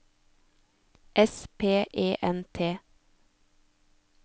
S P E N T